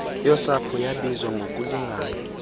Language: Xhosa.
yosapho yabiwa ngokulingana